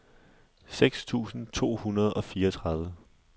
seks tusind to hundrede og fireogtredive